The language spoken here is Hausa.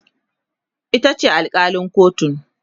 itace alkalin kotun